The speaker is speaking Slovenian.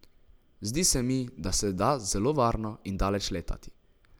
Zdi se mi, da se da zelo varno in daleč letati.